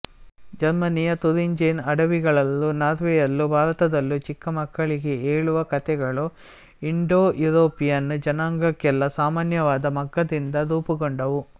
ಜರ್ಮನಿಯ ಥುರಿಂಜೆನ್ ಅಡವಿಗಳಲ್ಲೂ ನಾರ್ವೆಯಲ್ಲೂ ಭಾರತದಲ್ಲೂ ಚಿಕ್ಕಮಕ್ಕಳಿಗೆ ಹೇಳುವ ಕಥೆಗಳು ಇಂಡೋಯುರೋಪಿಯನ್ ಜನಾಂಗಕ್ಕೆಲ್ಲ ಸಾಮಾನ್ಯವಾದ ಮಗ್ಗದಿಂದ ರೂಪುಗೊಂಡವು